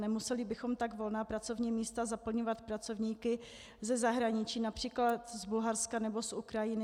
Nemuseli bychom tak volná pracovní místa zaplňovat pracovníky ze zahraničí, například z Bulharska nebo z Ukrajiny.